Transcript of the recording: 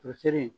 Furusiri